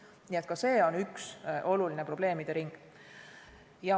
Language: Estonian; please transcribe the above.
Nii et ka see on üks olulisi probleemide ringe.